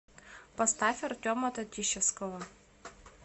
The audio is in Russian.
поставь артема татищевского